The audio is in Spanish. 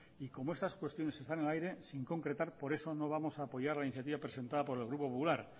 y como esas cuestiones están en el aire sin concretar por eso no vamos a apoyar la iniciativa presentada por el grupo popular